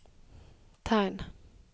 tegn